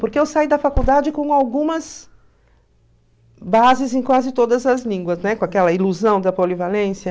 Porque eu saí da faculdade com algumas bases em quase todas as línguas, né, com aquela ilusão da polivalência.